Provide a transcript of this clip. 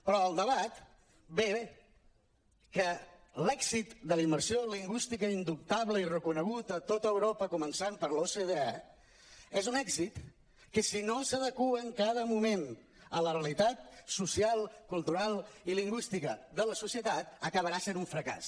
però el debat ve que l’èxit de la immersió lingüística indubtable i reconegut a tot europa començant per l’ocde és un èxit que si no s’adequa en cada moment a la realitat social cultural i lingüística de la societat acabarà sent un fracàs